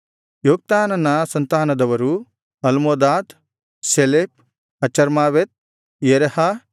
ಯೊಕ್ತಾನನ ಸಂತಾನದವರು Almodad Sheleph Hazarmaveth Jerah